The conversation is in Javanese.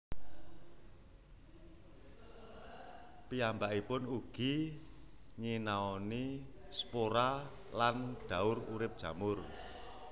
Piyambakipun ugi nyinaoni spora dan daur urip jamur